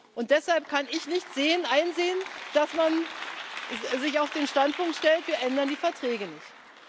Und deshalb kann ich nicht einsehen, dass man sich auf den Standpunkt stellt Wir ändern die Verträge nicht.